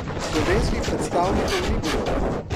Slovenskih predtavnikov ni bilo.